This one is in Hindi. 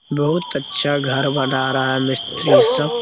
बहुत अच्छा घर बना रहा है मिस्त्री सब।